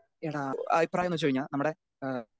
speaker 2 എടാ അഭിപ്രായൊന്നു വെച്ച് കഴിഞ്ഞാ നമ്മുടെ ഏഹ്